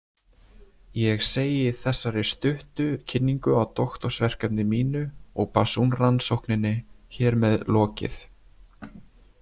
Ég segi þessari stuttu kynningu á doktorsverkefni mínu og Basun-rannsókninni hér með lokið.